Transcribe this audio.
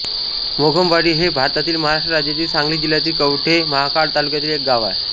मोघमवाडी हे भारतातील महाराष्ट्र राज्यातील सांगली जिल्ह्यातील कवठे महांकाळ तालुक्यातील एक गाव आहे